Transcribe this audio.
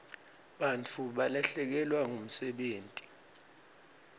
bantfu balahlekelwa ngumsebenti